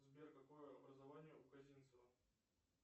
сбер какое образование у казинцева